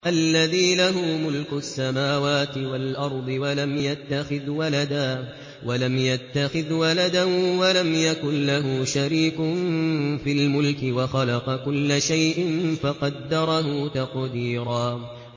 الَّذِي لَهُ مُلْكُ السَّمَاوَاتِ وَالْأَرْضِ وَلَمْ يَتَّخِذْ وَلَدًا وَلَمْ يَكُن لَّهُ شَرِيكٌ فِي الْمُلْكِ وَخَلَقَ كُلَّ شَيْءٍ فَقَدَّرَهُ تَقْدِيرًا